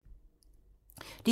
DR2